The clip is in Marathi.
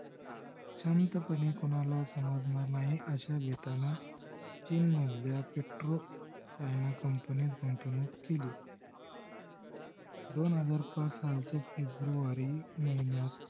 शांतपणे कोणाला समजणार नाही अश्या बेतान चीन मधल्या petro ह्या कंपण्यात गुंतवणूक केली. दोन हजार पाच सालच्या फेब्रुवरी महिन्यात